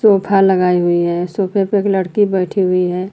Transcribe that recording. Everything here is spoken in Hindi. सोफा लगाए हुई है सोफे पे एक लड़की बैठी हुई है।